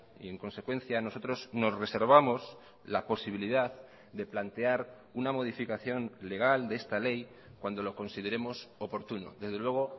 y en consecuencia nosotros nos reservamos la posibilidad de plantear una modificación legal de esta ley cuando lo consideremos oportuno desde luego